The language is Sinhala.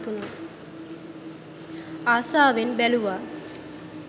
අසාවෙන් බැලුවා